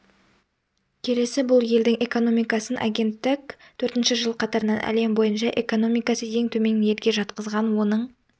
келеді бұлелдің экономикасын агенттік төртінші жыл қатарынан әлем бойынша экономикасы ең төмен елге жатқызған оның